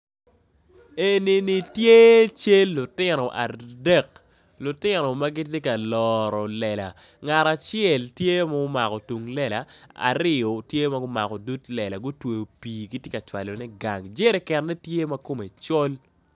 Enini tye cal lutino adek lutino magitye ka loro lela ngat acel tye ma omako tung lela ariyo tye magumako dud lela gutweo pi gitye ka cwalo ne gang jerikene tye makome col.